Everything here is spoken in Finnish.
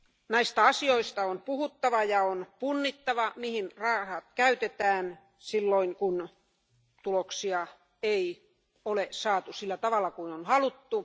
Näistä asioista on puhuttava ja on punnittava, mihin rahat käytetään, silloin kun tuloksia ei ole saatu sillä tavalla kuin on haluttu.